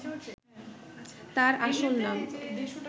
তাঁর আসল নাম